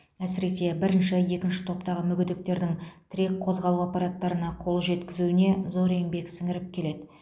әсіресе бірінші екінші топтағы мүгедектердің тірек қозғалу аппараттарына қол жеткізуіне зор еңбек сіңіріп келеді